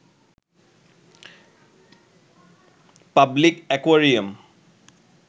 public aquarium